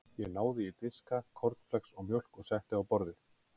Ég náði í diska, kornflex og mjólk og setti á borðið.